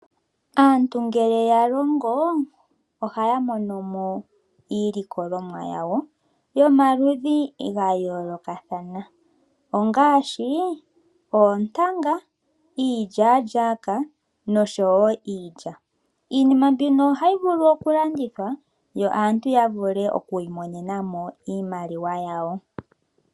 Aantu ngele yalongo ohaya monomo iilikolomwa yawo yomaludhi ga yoolokathana ngaashi oontanga, iilya-lyaka nosho wo iilya . Iinima mbino ohayi vulu okulandithwa yo aatu yavule oku imonenamo iimaliwa yawo